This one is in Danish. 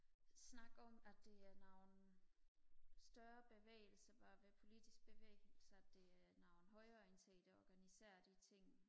de snakker om at det er nogle større bevægelser politiske bevægelser det er nogle højreorienterede der organiserer de ting